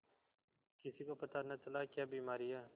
किसी को पता न चला क्या बीमारी है